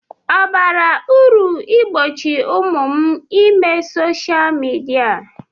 Ọ bara uru igbochi ụmụ m ime soshal midia?